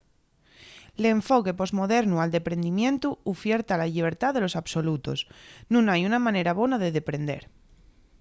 l’enfoque posmodernu al deprendimientu ufierta la llibertá de los absolutos. nun hai una manera bona de deprender